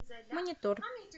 монитор